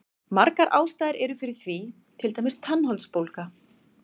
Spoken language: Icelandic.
Margar ástæður eru fyrir því, til dæmis tannholdsbólga.